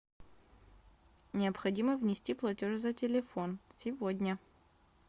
необходимо внести платеж за телефон сегодня